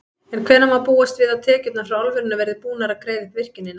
En hvenær má búast við að tekjurnar frá álverinu verði búnar að greiða upp virkjunina?